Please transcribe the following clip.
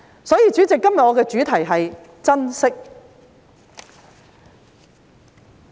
所以，主席，今天我的主題是"珍惜"。